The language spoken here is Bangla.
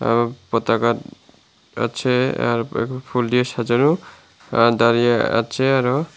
পতাকা আছে আর এখন ফুল দিয়ে সাজানো আ দাঁড়িয়ে আছে আরও।